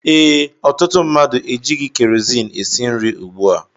Ee, ọtụtụ mmadụ ejighi kerozini esi nri ùgbú a